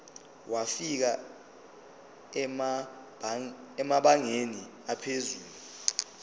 wafika emabangeni aphezulu